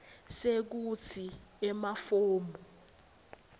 sekutsi emafomu e